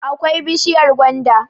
akwai bishiyar gwanda